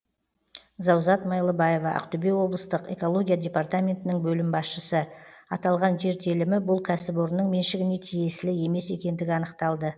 заузат майлыбаева ақтөбе облыстық экология департаментінің бөлім басшысы аталған жер телімі бұл кәсіпорынның меншігіне тиеісілі емес екендігі анықталды